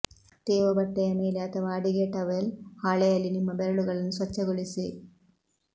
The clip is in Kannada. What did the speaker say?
ತೇವ ಬಟ್ಟೆಯ ಮೇಲೆ ಅಥವಾ ಅಡಿಗೆ ಟವೆಲ್ ಹಾಳೆಯಲ್ಲಿ ನಿಮ್ಮ ಬೆರಳುಗಳನ್ನು ಸ್ವಚ್ಛಗೊಳಿಸಿ